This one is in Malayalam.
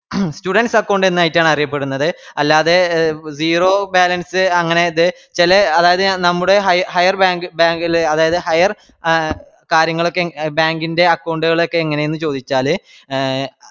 student account എന്നായിറ്റാണറിയപ്പെടുന്നത് അല്ലാതെ zero balance അങ്ങനെ ഇത് ചെലെ അതായത് നമ്മുടെ ഹയ higher bank ഇല് അതായത് higher എ കാര്യങ്ങളൊക്കെ bank ന്റെ account കള് എങ്ങനെ എന്ന് ചോയിച്ചാല്